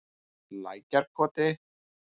Lækjarkoti